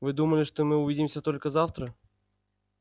вы думали что мы увидимся только завтра